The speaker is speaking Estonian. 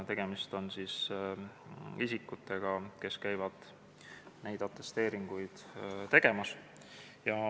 Tegemist on isikutega, kes käivad neid atesteeringuid tegemas.